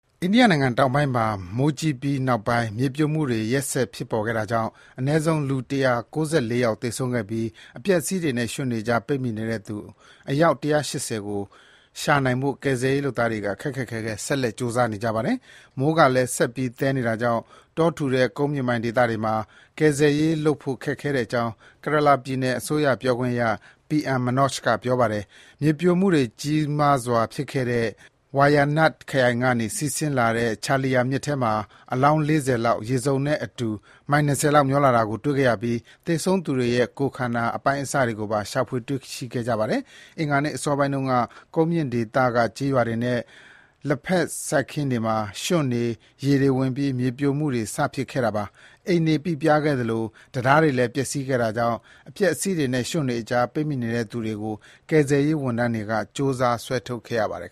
အိန္ဒိယနိုင်ငံတောင်ပိုင်းမှာ မိုးကြီးပြီးနောက်ပိုင်း မြေပြိုမှုတွေ ရက်ဆက် ဖြစ်တာကြောင့် အနည်းဆုံး လူ ၁၉၄ ယောက် သေဆုံးခဲ့ပြီး အပျက်အစီးတွေနဲ့ ရွှံ့တွေကြား ပိတ်မိနေတဲ့သူ အယောက် ၁၈၀ ကို ရှာနိုင်ဖို့ ကယ်ဆယ်ရေးလုပ်သားတွေက ခက်ခက်ခဲခဲ ဆက်လက် ကြိုးစားနေကြပါတယ်။ မိုးကလည်း ဆက်ပြီး သည်းနေတာကြောင့် တောထူတဲ့ ကုန်းမြင့်ပေါ်ဒေသတွေမှာ ကယ်ဆယ်ရေးလုပ်ဖို့ ခက်ခဲကြောင်း Kerala ပြည်နယ်အစိုးရ ပြောခွင့်ရ P.M Manoj က ပြောပါတယ်။ မြေပြိုမှုတွေ ကြီးမားစွာဖြစ်ပွားတဲ့ Wayanad ခရိုင်ကနေ စီးဆင်းတဲ့ Chaliyar မြစ်ထဲမှာ အလောင်း ၄၀ လောက် ရေစုံနဲ့အတူ မိုင် ၂၀ လောက် မျောပါလာတာကို တွေ့ခဲ့ရပြီး သေဆုံးသူတွေရဲ့ ကိုယ်ခန္တာ အပိုင်းအစတွေကိုပါ ရှာတွေ့ခဲ့တာပါ။ အင်္ဂါနေ့ အစောပိုင်းတုန်းက ကုန်းမြင့်ဒေသရှိ ကျေးရွာတွေနဲ့ လက်ဖက်ခြောက်စိုက်ခင်းတွေမှာ ရွှံ့တွေ၊ ရေတွေဝင်ပြီး မြေပြိုမှုတွေ စဖြစ်ခဲ့တာပါ။ အိမ်တွေ ပိပြားခဲ့သလို တံတားတွေလည်း ပျက်စီးခဲ့တာကြောင့် အပျက်အစီးတွေနဲ့ ရွှံ့တွေအကြား ပိတ်မိနေတဲ့သူတွေကို ကယ်ဆယ်ရေးဝန်ထမ်းတွေက ကြိုးစား ဆွဲထုတ်ခဲ့ရပါတယ်